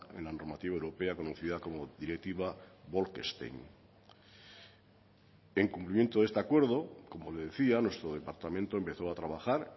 en la normativa europea conocida como directiva bolkestein en cumplimiento de este acuerdo como le decía nuestro departamento empezó a trabajar